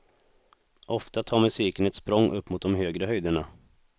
Ofta tar musiken ett språng upp mot de högre höjderna.